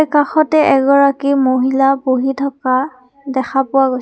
কাষতে এগৰাকী মহিলা বহি থকা দেখা পোৱা গৈছে।